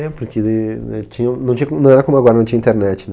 É, porque né tinha não tinha como não era como agora, não tinha internet, né?